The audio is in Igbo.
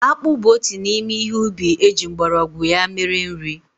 Akpụ bụ otu n'ime ihe ubi eji mgbọrọgwụ ya mere nri.